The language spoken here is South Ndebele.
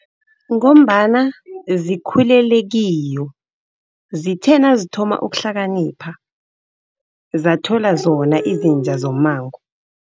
Ngombana zikhulele kiyo. Zithe nazithoma ukuhlakanipha, zathola zona izinja zommango.